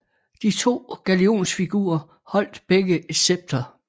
De to galionsfigurer holdt begge et scepter